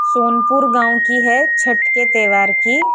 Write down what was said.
सोनपुर गाँव की है छट के तैवार की --